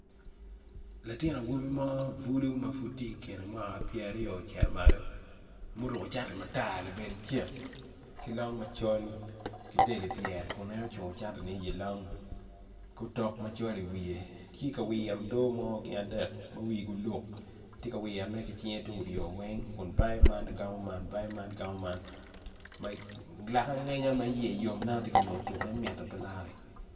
Latin awobi mo bulu mapud tye ikine mwaka pyeraryo me cito malo muruko cati matar labade cek ki long macol kidel i pyere ma en ocungo cati ne i long ki otok macol i wiye tye ka wito doo mo gin adek ma wigi oluk tye ka wiro ne ki cinge tukuryo weng kun gamo man bayo man amo man bayo man lake angenya ma iye yom matyeka neno tuko nge mit mape lare.